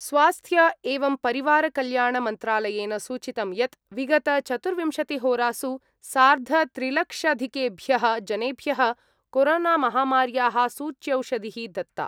स्वास्थ्य एवं परिवार कल्याण मन्त्रालयेन सूचितं यत् विगत-चतुर्विंशतिहोरासु सार्धत्रिलक्षधिकेभ्यः जनेभ्य: कोरोनामहामार्याः सूच्यौषधिः दत्ता।